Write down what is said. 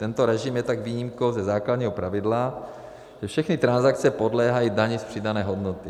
Tento režim je tak výjimkou ze základního pravidla, že všechny transakce podléhají dani z přidané hodnoty.